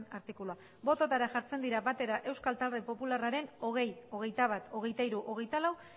artikulua botoetara jartzen dira batera euskal talde popularraren hogei hogeita bat hogeita hiru hogeita lau